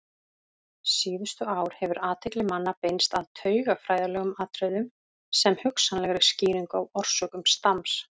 Síðustu ár hefur athygli manna beinst að taugafræðilegum atriðum sem hugsanlegri skýringu á orsökum stams.